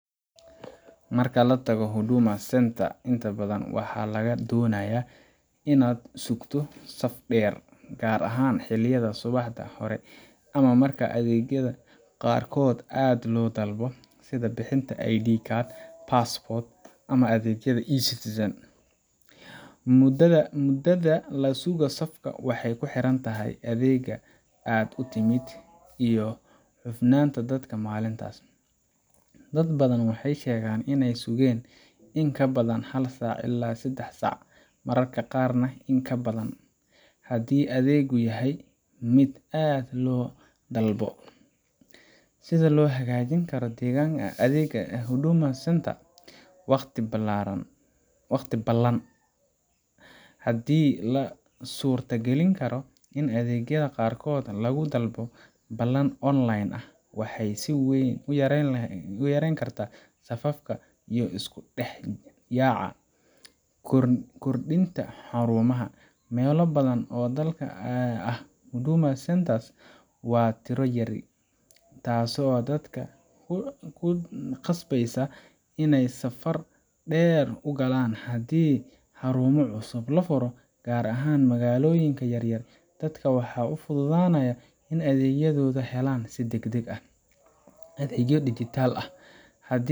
Marka la tago Huduma Centre, inta badan waxaa lagaa doonayaa inaad sugto saf dheer, gaar ahaan xilliyada subaxda hore ama marka adeegyada qaarkood aad loo dalbado, sida bixinta ID card, passport, ama adeegyada eCitizen. Mudada la sugo safka waxay ku xiran tahay adeegga aad u timid iyo cufnaanta dadka maalintaas. Dad badan waxay sheegeen in ay sugeen in ka badan hal saac ilaa sedax saac, mararka qaarna in ka badan, haddii adeeggu yahay mid aad loo dalbado. Sida loo hagaajin karo adeega Huduma Centre: Waqti ballan : Haddii la suurtagelin karo in adeegyada qaarkood lagu dalbado ballan online ah, waxay si weyn u yareyn kartaa safafka iyo isku dhex yaaca. Kordhinta xarumaha: Meelo badan oo dalka ah Huduma Centre waa tiro yar, taasoo dadka ku khasbeysa inay safar dheer u galaan. Haddii xarumo cusub la furo, gaar ahaan magaalooyinka yaryar, dadka waxaa u fududaanaya in ay adeegyadooda helaan si degdeg ah. – Adeegyo dijitaal ah : Haddii